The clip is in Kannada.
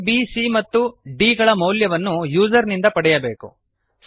ಆ ಬ್ c ಮತ್ತು d ಗಳ ಮೌಲ್ಯವನ್ನು ಯೂಸರ್ ನಿಂದ ಪಡೆಯಬೇಕು